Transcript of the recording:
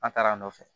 An taara a nɔfɛ